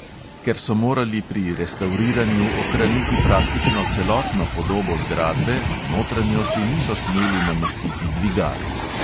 Ker so morali pri restavriranju ohraniti praktično celotno podobo zgradbe, v notranjosti niso smeli namestiti dvigal.